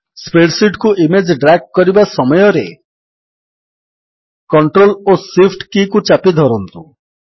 spread sheet କୁ image drag କରିବା ସମୟରେ କଣ୍ଟ୍ରୋଲ ଓ Shift କୀକୁ ଚାପି ଧରନ୍ତୁ